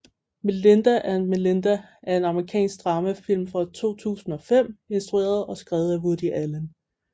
Melinda and Melinda er en amerikansk dramafilm fra 2005 instrueret og skrevet af Woody Allen